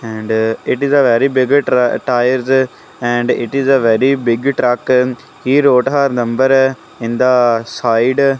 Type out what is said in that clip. and it is a very big tra tyres and it is a very big truck he wrote her number in the side.